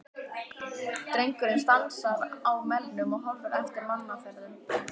Drengurinn stansar á melnum og horfir eftir mannaferðum.